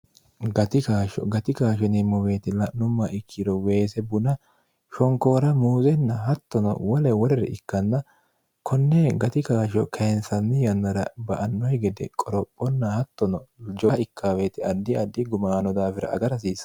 gihgati gaasho neemmoweeti la'numma ikkiro weese buna shonkoora muuzenna hattono wole woreri ikkanna konne gati kaashsho kaensanmi yannara ba annoyi gede qorophonna hattono 0o ikkawti adi adi gumaano daafira aga rhsiisa